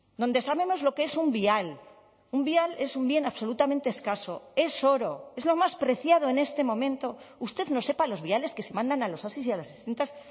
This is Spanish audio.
donde sabemos lo que es un vial un vial es un bien absolutamente escaso es oro es lo más preciado en este momento usted no sepa los viales que se mandan a los osi y a las distintas